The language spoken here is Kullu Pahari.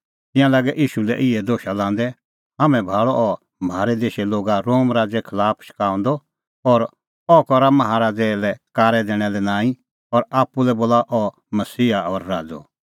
तिंयां लागै ईशू लै इहै दोशा लांदै हाम्हैं भाल़अ अह म्हारै देशे लोगा रोम राज़े खलाफ शकाऊंदअ और अह करा माहा राज़ै लै कारै दैणा लै नांईं और आप्पू लै बोला अह मसीहा और राज़अ